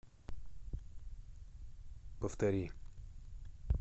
повтори